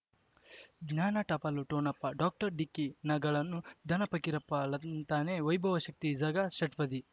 ಜ್ಞಾನ ಟಪಾಲು ಠೊಣಪ ಡಾಕ್ಟರ್ ಢಿಕ್ಕಿ ಣಗಳನು ಧನ ಫಕೀರಪ್ಪ ಳಂತಾನೆ ವೈಭವ್ ಶಕ್ತಿ ಝಗಾ ಷಟ್ಪದಿ